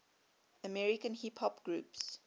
american hip hop groups